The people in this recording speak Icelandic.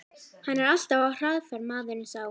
Hann er alltaf á hraðferð, maðurinn sá.